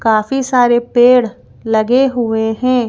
काफी सारे पेड़ लगे हुए हैं।